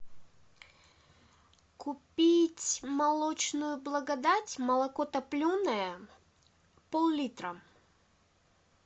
купить молочную благодать молоко топленое поллитра